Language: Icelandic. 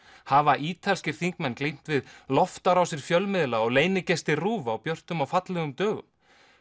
hafa ítalskir þingmenn glímt við loftárásir fjölmiðla og RÚV á björtum og fallegum dögum